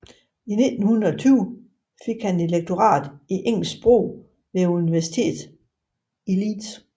I 1920 fik han et lektorat i engelsk sprog ved Universitetet i Leeds